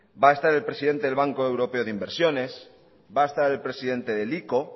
va a estar el presidente del banco europeo de inversiones va a estar el presidente del ico